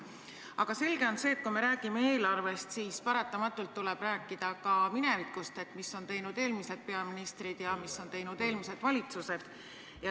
Aga selge on see, et kui me räägime eelarvest, siis paratamatult tuleb rääkida ka minevikust ja sellest, mis on teinud eelmised peaministrid ja mis on teinud eelmised valitsused.